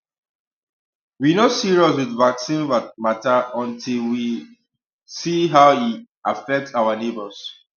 we no serious with vaccine matter until we um see how e affect our neighbors